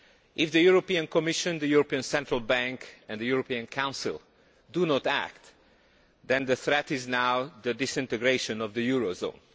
If the European Commission, the European Central Bank and the European Council do not act, then the threat is now the disintegration of the eurozone.